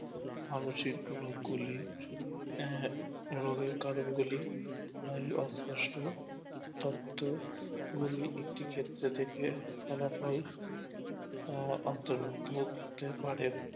মানসিক রোগগুলি আঃ কারণ গুলি তত্ত্ব গুলি একটি ক্ষেত্র থেকে ফলাফল আহ অন্তর্ভুক্ত ঘটে থাকে